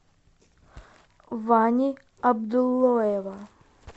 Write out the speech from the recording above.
вани абдуллоева